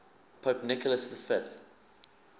pope nicholas v